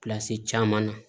caman na